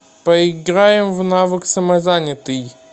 поиграем в навык самозанятый